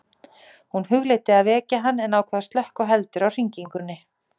Hún hugleiddi að vekja hann en ákvað að slökkva heldur á hringingunni.